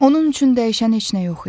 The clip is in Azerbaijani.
Onun üçün dəyişən heç nə yox idi.